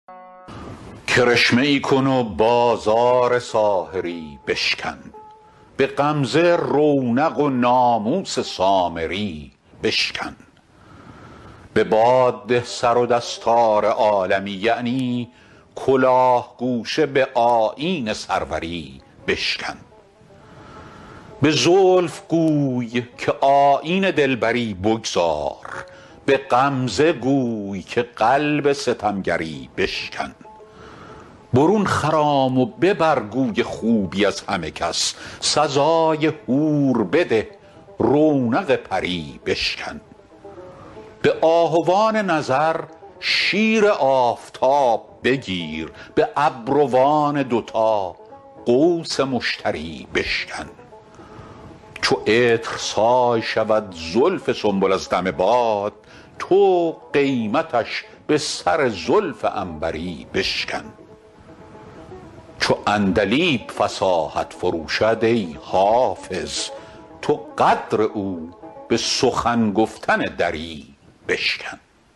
کرشمه ای کن و بازار ساحری بشکن به غمزه رونق و ناموس سامری بشکن به باد ده سر و دستار عالمی یعنی کلاه گوشه به آیین سروری بشکن به زلف گوی که آیین دلبری بگذار به غمزه گوی که قلب ستمگری بشکن برون خرام و ببر گوی خوبی از همه کس سزای حور بده رونق پری بشکن به آهوان نظر شیر آفتاب بگیر به ابروان دوتا قوس مشتری بشکن چو عطرسای شود زلف سنبل از دم باد تو قیمتش به سر زلف عنبری بشکن چو عندلیب فصاحت فروشد ای حافظ تو قدر او به سخن گفتن دری بشکن